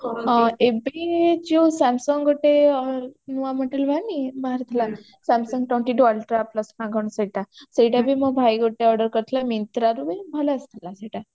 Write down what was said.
ହଁ ଏବେ ଯୋଉ samsung ଗୋଟେ ନୂଆ model ବାହାରିନି ବାହାରିଥିଲା samsung twenty two ultra plus ନା କଣ ସେଇଟା ସେଇଟା ବି ମୋ ଭାଇ ଗୋଟେ order କରିଥିଲା myntra ରୁ ବି ଭଲ ଆସିଥିଲା ସେଇଟା